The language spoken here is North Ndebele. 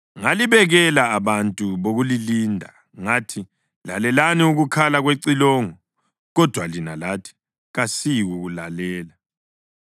Ngalibekela abantu bokulilinda ngathi, ‘Lalelani ukukhala kwecilongo!’ Kodwa lina lathi, ‘Kasiyikulalela.’